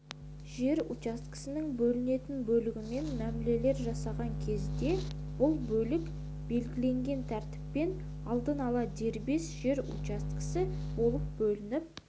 жер учаскесінің бөлінетін бөлігімен мәмілелер жасаған кезде бұл бөлік белгіленген тәртіппен алдын ала дербес жер учаскесі болып бөлініп